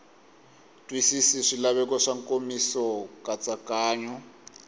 twisisi swilaveko swa nkomiso nkatsakanyo